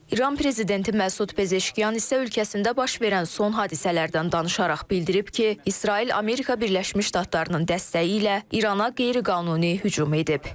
İran prezidenti Məsud Pezeşkiyan isə ölkəsində baş verən son hadisələrdən danışaraq bildirib ki, İsrail Amerika Birləşmiş Ştatlarının dəstəyi ilə İrana qeyri-qanuni hücum edib.